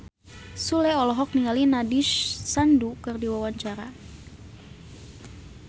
Sule olohok ningali Nandish Sandhu keur diwawancara